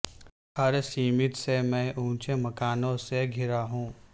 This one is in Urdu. ہر سمت سے میں اونچے مکانوں سے گھرا ہوں